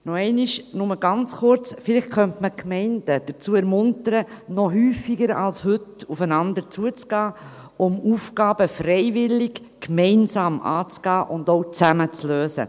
Noch einmal nur ganz kurz: Vielleicht könnte man die Gemeinden dazu ermuntern, noch häufiger als heute aufeinander zuzugehen, um Aufgaben freiwillig gemeinsam anzugehen und auch zusammen zu lösen.